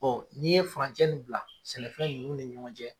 Ɔ n'i ye furan jɛ ni bila sɛnɛfɛn nunnu ni ɲɔgɔn cɛ.